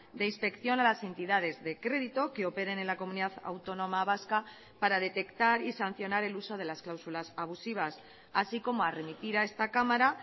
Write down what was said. de inspección a las entidades de crédito que operen en la comunidad autónoma vasca para detectar y sancionar el uso de las cláusulas abusivas así como a remitir a esta cámara